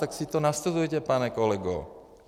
Tak si to nastudujte, pane kolego.